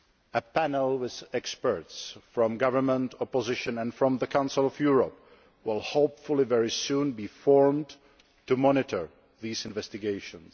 A panel with experts from government, opposition and from the Council of Europe will hopefully very soon be formed to monitor these investigations.